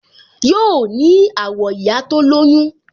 Yoo ní àwọ̀ ìyá tó lóyún